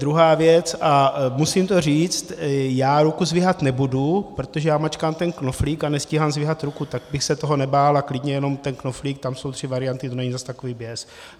Druhá věc, a musím to říct, já ruku zdvihat nebudu, protože já mačkám ten knoflík a nestíhám zdvihat ruku, tak bych se toho nebál a klidně jenom ten knoflík, tam jsou tři varianty, to není zase takový běs.